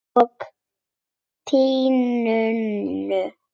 Og á túninu.